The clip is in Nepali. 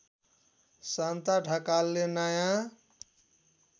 शान्ता ढकालले नयाँ